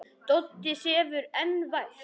Doddi sefur enn vært.